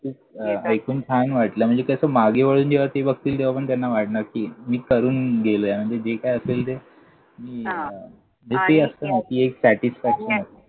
ऐकून छान वाटलं. म्हणजे कसं मागे वळून तेव्हा ते बघतील, तेव्हा पण त्यांना वाटणार कि मी करून गेलोय. म्हणजे जे काय असेल ते. मी हां ते असतं ना satisfaction